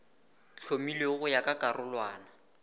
hlomilwego go ya ka karolwana